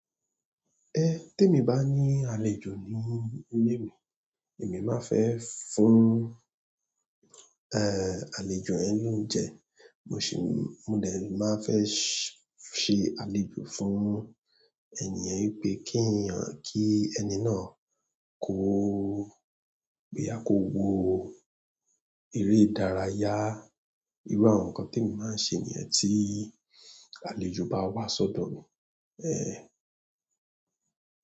Temi bá ní àlejò ní ilé mi, èmi má n fẹ fún, àlejò yen loúnjẹ. Mo sì, mo de má fẹ ṣe àlejò fún ènìyàn wípé kí ènìyàn, kí ẹni náà kó, boya kó wo eré ìdárayá. Irú àwọn nǹkan tí èmi má ń ṣe niyẹ́n tí àlejò bá wá sọ́dọ̀ mi.